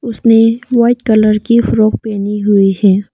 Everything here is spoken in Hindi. उसने व्हाइट कलर की फ्रॉक पहनी हुई है।